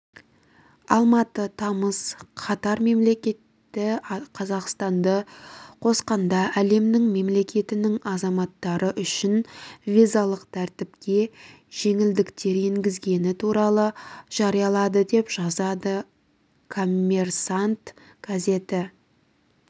алматы тамыз катар мемлекеті қазақстанды қосқанда әлемнің мемлекетінің азаматтары үшін визалық тәртіпке жеңілдіктер енгізгені туралы жариялады деп жазады коммерсантъ газеті